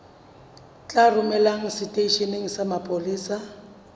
tla romelwa seteisheneng sa mapolesa